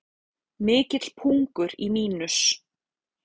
Mikill pungur í Mínus